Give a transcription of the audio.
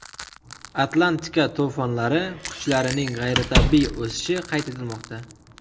Atlantika to‘fonlari kuchlarining g‘ayritabiiy o‘sishi qayd etilmoqda.